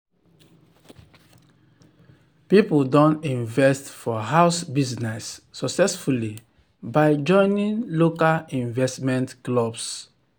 people don invest for house business successfully by joining local investment clubs.